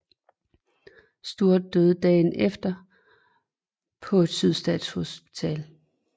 Stuart døde dagen efter på et Sydstatshospital